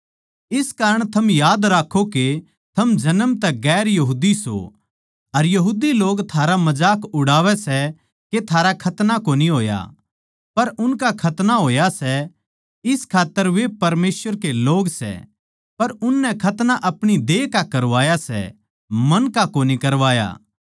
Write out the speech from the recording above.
इस कारण थम याद राक्खों के थम जन्म तै गैर यहूदी सों अर यहूदी लोग थारा मजाक उड़ावै सै के थारा खतना कोनी होया पर उनका खतना होया सै इस खात्तर वे परमेसवर के लोग सै पर उननै खतना अपणी देह का करवाया सै मन का कोनी करवाया